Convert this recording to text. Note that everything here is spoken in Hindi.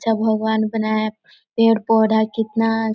जब भगवान बनाया पेड़-पौधा कितना--